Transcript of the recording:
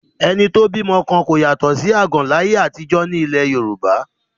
Ẹni tó bímọ kan kò yàtọ̀ sí àgàn láyé àtijọ́ ní ilẹ̀ Yorùbá